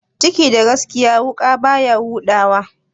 Ciki da gaskiya, wuƙa baya huda wa?